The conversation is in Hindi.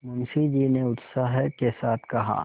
मुंशी जी ने उत्साह के साथ कहा